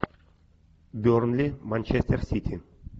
бернли манчестер сити